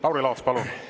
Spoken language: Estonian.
Lauri Laats, palun!